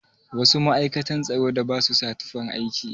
Wasu ma'aikatan tsaro da ba su sa tufan aiki?